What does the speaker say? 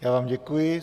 Já vám děkuji.